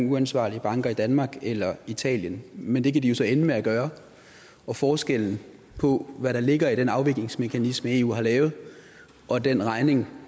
uansvarlige banker i danmark eller i italien men det kan de jo så ende med at gøre og forskellen på hvad der ligger i den afviklingsmekanisme eu har lavet og den regning